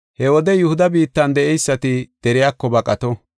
He wode Yihuda biittan de7eysati deriyako baqato.